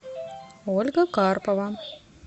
ольга карпова